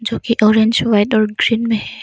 जो की एक ऑरेंज वाइट और ग्रीन में है।